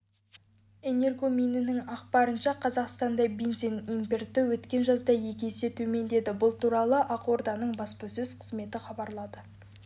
энергоминінің ақпарынша қазақстанда бензин импорты өткен жазда екі есе төмендеді бұл туралы ақорданың баспасөз қызметі хабарлады